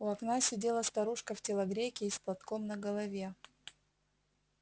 у окна сидела старушка в телогрейке и с платком на голове